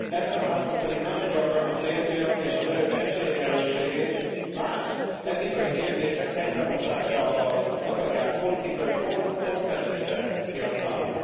Ebben a házban pedig nagyon gyakran a férfiak és a nők esélyegyenlőségét más etikai kérdések egybemosásával akarják politikai pontszerzésre kihasználni.